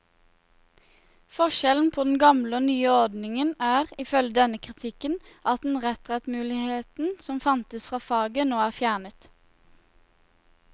Forskjellen på den gamle og nye ordningen er, ifølge denne kritikken, at den retrettmuligheten som fantes fra faget, nå er fjernet.